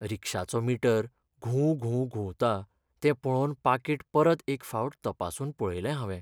रिक्षाचो meter घुंव घुंव घुंवता तो पळोवन पाकीट परत एक फावट तपासून पळयलें हावें.